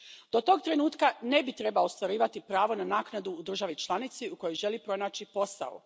Do tog trenutka ne bi trebao ostvarivati pravo na naknadu u državi članici u kojoj želi pronaći posao.